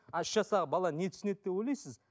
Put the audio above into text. а үш жастағы бала не түсінеді деп ойлайсыз